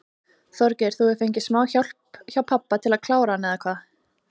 Þorgeir: Þú hefur fengið smá hjálp hjá pabba til að klára hann eða hvað?